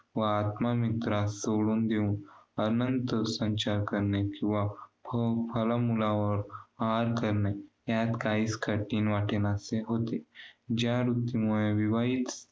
व आत्ममित्रास सोडून देऊन अनन्तर संचार करणे किंवा फ~ फलमुलावर आहार करणे. यात काहीच कठीण वाटेनासे होते. ज्या वृत्तीमुळे विवाहित